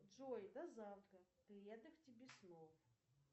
джой до завтра приятных тебе снов